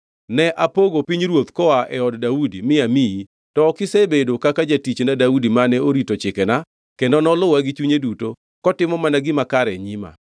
Ne apogo pinyruoth koa e od Daudi mi amiyi, to ok isebedo kaka jatichna Daudi mane orito chikena kendo noluwa gi chunye duto kotimo mana gima kare e nyima.